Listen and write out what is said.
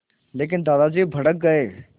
लेकिन दादाजी भड़क गए